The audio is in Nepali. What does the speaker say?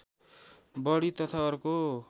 बर्डी तथा अर्को